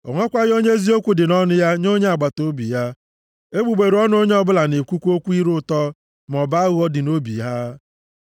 O nwekwaghị onye eziokwu dị nʼọnụ ya nye onye agbataobi ya. Egbugbere ọnụ onye ọbụla na-ekwukwa okwu ire ụtọ, maọbụ aghụghọ dị nʼobi ha.